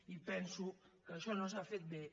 i penso que això no s’ha fet bé